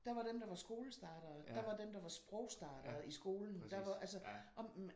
Der var dem der var skolestartere. Der var dem der var sprogstartere i skolen der var altså og